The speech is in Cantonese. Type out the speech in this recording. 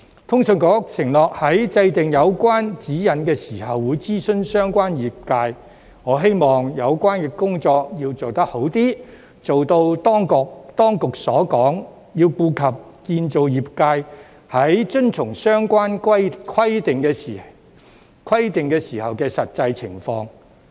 通訊事務管理局承諾在制訂有關指引時會諮詢相關業界，我希望有關工作要做好一些，做到當局所說，要顧及建造業界在遵從相關規定時的實際情況。